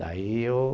Daí eu